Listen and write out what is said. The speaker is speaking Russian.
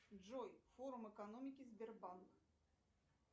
джой форум экономики сбербанк